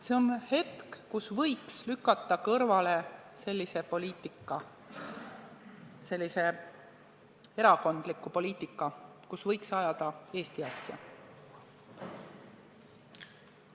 See on hetk, kus võiks lükata kõrvale erakondliku poliitika, kus võiks ajada Eesti asja.